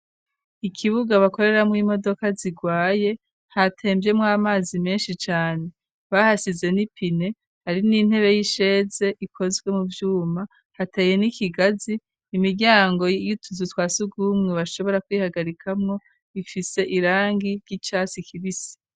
ikibuga bakoreramwo imodoka zigwaye hatemvyemwo amazi menshi cane, bahasize n'ipine hari n'intebe y'isheze ikozwe mu vyuma, hateye n'ikigazi, imiryango y'utuzu twa sugumwe bashobora kwihagarikamwo, ifise irangi ry'icatsi kibisi.